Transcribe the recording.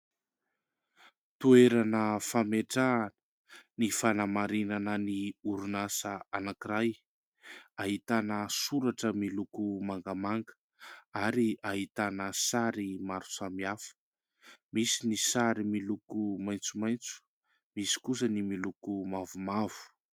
Toerana fametrahana ny fanamarinan'ny orinasa anankiray. Ahitana soratra miloko mangamanga ary ahitana sary maro samy hafa misy ny sary miloko maitsomaitso, misy kosa ny miloko mavomavo.